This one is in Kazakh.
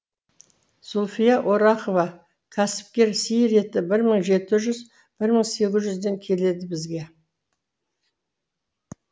зульфия орақова кәсіпкер сиыр еті бір мың жеті жүз бір мың сегіз жүзден келеді бізге